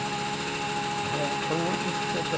Você põe um vestido.